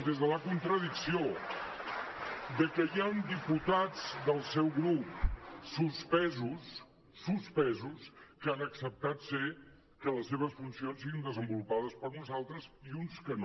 des de la contradicció que hi han diputats del seu grup suspesos suspesos que han acceptat que les seves funcions siguin desenvolupades per uns altres i uns que no